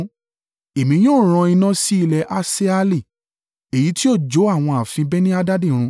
Èmi yóò rán iná sí ilé Hasaeli, èyí ti yóò jó àwọn ààfin Beni-Hadadi run.